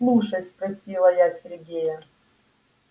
слушай спросила я сергея